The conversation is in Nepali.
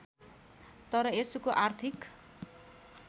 तर यसको आर्थिक